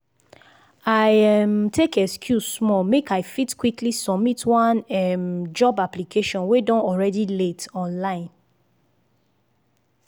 i um tak excuse small make i fit quickly submit one um job application wey don already late online.